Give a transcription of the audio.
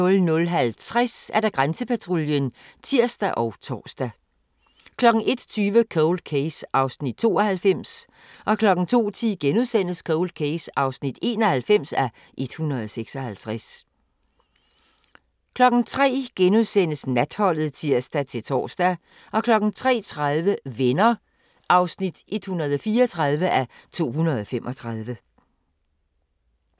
00:50: Grænsepatruljen (tir og tor) 01:20: Cold Case (92:156) 02:10: Cold Case (91:156)* 03:00: Natholdet *(tir-tor) 03:30: Venner (134:235)